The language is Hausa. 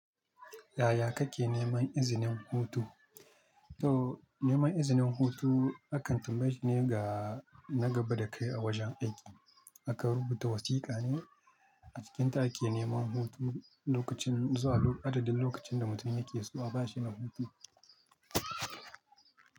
Yaya kake neman izinin hutu? To neman izinin hutu akantumeji ne ga na gaba da kai a wajen aiki. Aka rubuta wasiƙa ne a cikinta ake neman hutu lokacin zuwa adadin lokacin da mutum yake so a ba shi na hutu.